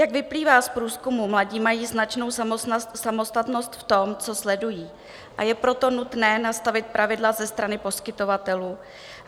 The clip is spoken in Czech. Jak vyplývá z průzkumů, mladí mají značnou samostatnost v tom, co sledují, a je proto nutné nastavit pravidla ze strany poskytovatelů.